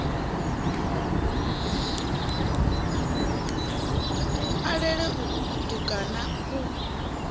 a lele uku kutukana ku